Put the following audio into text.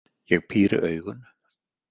Ég píri augun.